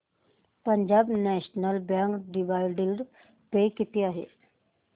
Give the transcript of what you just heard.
Punjab national bank dividend pay किती आहे